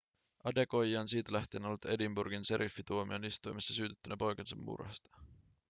adekoya on siitä lähtien ollut edinburghin šeriffintuomioistuimessa syytettynä poikansa murhasta